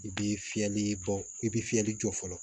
I bi fiyɛli bɔ i bi fiyɛli jɔ fɔlɔ